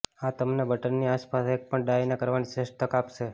આ તમને બટનની આસપાસ એક પણ ડાયને કરવાની શ્રેષ્ઠ તક આપશે